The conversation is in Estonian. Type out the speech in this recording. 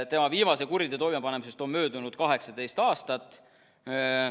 Tema viimase kuriteo toimepanemisest on möödunud 18 aastat.